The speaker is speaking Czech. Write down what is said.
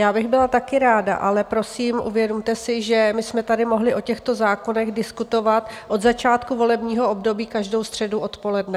Já bych byla taky ráda, ale prosím, uvědomte si, že my jsme tady mohli o těchto zákonech diskutovat od začátku volebního období každou středu odpoledne.